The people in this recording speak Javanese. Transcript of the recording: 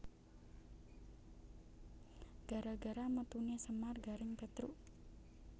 Gara gara metune Semar Gareng Petruk